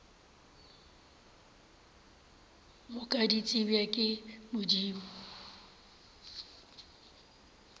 moka di tsebja ke modimo